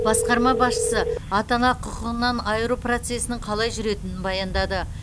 басқарма басшысы ата ана құқығынан айыру процесінің қалай жүретінін баяндады